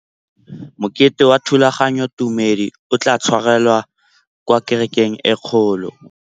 Mokete wa thulaganyôtumêdi o tla tshwarelwa kwa kerekeng e kgolo.